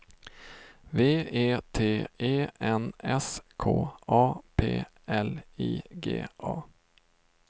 V E T E N S K A P L I G A